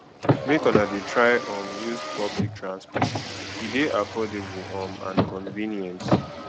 make una dey try um use public transport e dey affordable um and convenient